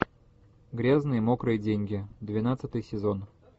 грязные мокрые деньги двенадцатый сезон